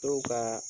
Dɔw ka